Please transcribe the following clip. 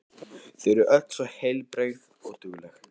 Þau eru öll svo heilbrigð og dugleg.